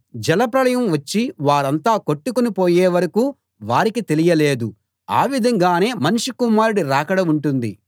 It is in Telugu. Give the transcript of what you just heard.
జలప్రళయం వచ్చి వారంతా కొట్టుకునిపోయే వరకూ వారికి తెలియలేదు ఆ విధంగానే మనుష్య కుమారుడి రాకడ ఉంటుంది